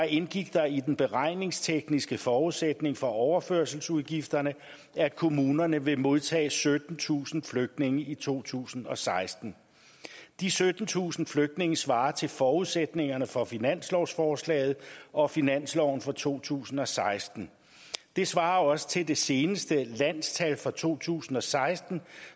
indgik der i den beregningstekniske forudsætning for overførselsudgifterne at kommunerne vil modtage syttentusind flygtninge i to tusind og seksten de syttentusind flygtninge svarer til forudsætningerne for finanslovsforslaget og finansloven for to tusind og seksten det svarer også til det seneste landstal for to tusind og seksten